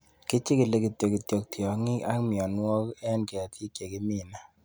Kichikili kityok kityok tiongik ak mionwokik en ketik chegimine